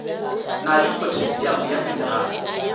na le phothasiamo ya menerale